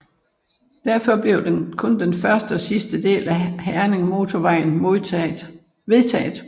Derfor blev kun den første og sidste del af Herningmotorvejen vedtaget